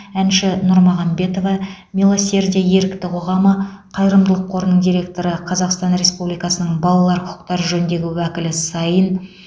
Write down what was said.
әнші нұрмағамбетова милосердие ерікті қоғамы қайырымдылық қорының директоры қазақстан республикасының балалар құқықтары жөніндегі уәкілі саин